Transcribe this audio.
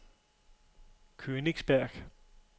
Königsberg